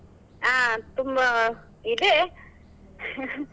ಹಾ ತುಂಬಾ ಇದೆ .